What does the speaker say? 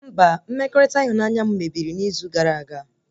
Mba, mmekọrịta ịhụnanya m mebiri n'izu gara aga